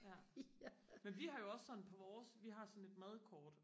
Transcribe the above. ja men vi har jo også sådan på vores vi har sådan et madkort